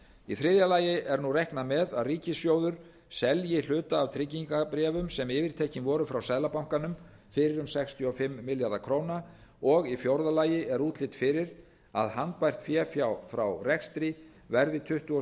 í þriðja lagi er nú reiknað með að ríkissjóður selji hluta af tryggingabréfum sem yfirtekin voru frá seðlabankanum fyrir um sextíu og fimm milljarða króna og í fjórða lagi er útlit fyrir að handbært fé frá rekstri verði tuttugu og